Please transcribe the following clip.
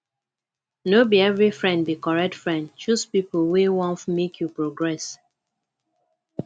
no be every friend be correct friend choose pipo wey want make you progress